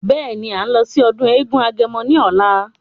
Beeni, à ń lọ sí ọdún eégún agẹmọ ní ọ̀la.